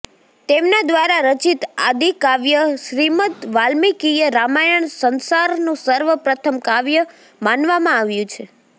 તેમના દ્વારા રચિત આદિકાવ્ય શ્રીમદવાલ્મિકીય રામાયણ સંસારનું સર્વ પ્રથમ કાવ્ય માનવામાં આવ્યું છે